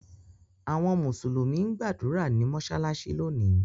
Awọn Musulumi n gbadura ni mọṣalaṣi loni